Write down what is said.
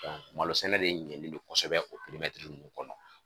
Malo sɛnɛ bɛ ɲɛlen do kosɛbɛ o ninnu kɔnɔ.